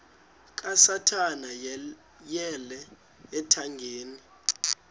kasathana yeyele ethangeni